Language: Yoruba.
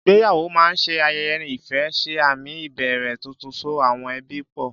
Ìgbéyàwó máa ń ṣe ayẹyẹ ìfẹ́, ṣe àmì ìbẹ̀rẹ̀ tuntun, so àwọn ẹbí pọ̀.